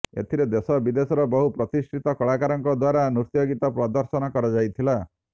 ଏଥିରେ ଦେଶ ବିଦେଶର ବହୁ ପ୍ରତିଷ୍ଠିତ କଳାକାରଙ୍କ ଦ୍ୱାରା ନୃତ୍ୟଗୀତ ପ୍ରଦର୍ଶନ କରାଯାଇଥିଲା